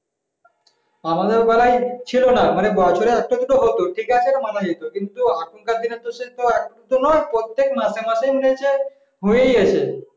আমাদের বেলায় ছিল না মানে বছরে একটা দুটো হতো ঠিক আছে এটা মানা যেত। কিন্তু এখনকার দিনে একটা নয় প্রত্যেক মাসে মাসে মনে হচ্ছে হয়েই আছে